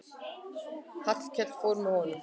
Hallkell fór með honum.